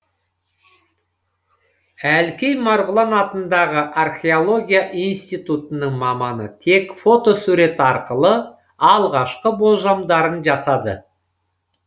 әлкей марғұлан атындағы археология институтының маманы тек фотосурет арқылы алғашқы болжамдарын жасады